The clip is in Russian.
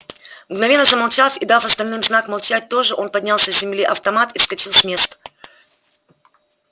мгновенно замолчав и дав остальным знак молчать тоже он поднял с земли автомат и вскочил с места